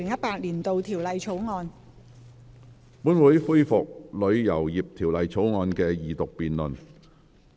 本會恢復《旅遊業條例草案》的二讀辯論。